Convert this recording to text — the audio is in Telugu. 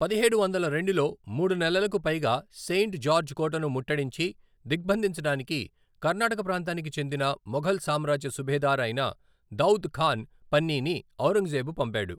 పదిహేడు వందల రెండులో, మూడు నెలలకు పైగా సెయింట్ జార్జ్ కోటను ముట్టడించి, దిగ్బంధించడానికి కర్ణాటక ప్రాంతానికి చెందిన మొఘల్ సామ్రాజ్య సుభేదార్ అయిన దౌద్ ఖాన్ పన్నీని ఔరంగజేబు పంపాడు.